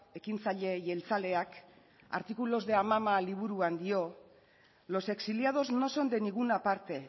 ekintzaile jeltzaleak artículos de amama liburuan dio los exiliados no son de ninguna parte